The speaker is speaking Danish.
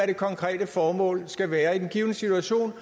det konkrete formål skulle være i den givne situation